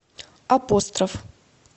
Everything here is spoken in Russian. апостроф